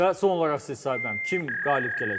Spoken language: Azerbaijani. Və son olaraq siz Sahib müəllim, kim qalib gələcək?